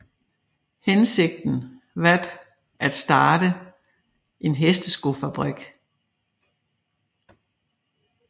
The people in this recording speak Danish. Hensigten vat at starte en hesteskofabrik